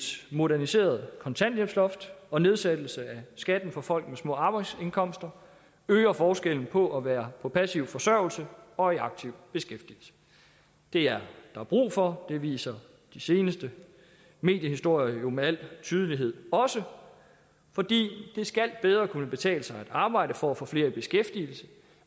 moderniseret kontanthjælpsloft og nedsættelse af skatten for folk med små arbejdsindkomster øger forskellen på at være på passiv forsørgelse og i aktiv beskæftigelse det er der brug for det viser de seneste mediehistorier jo med al tydelighed også det skal bedre kunne betale sig at arbejde for at få flere i beskæftigelse